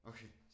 Okay